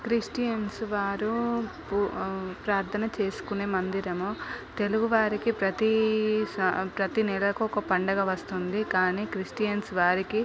Christians వారు ఉ ఆ ప్రార్థన చేసుకునే మందిరము. తెలుగువారికి ప్రతి స ప్రతి నెలకి ఒక పండగ వస్తుంది కానీ క్రిస్టియన్స్ వారికి--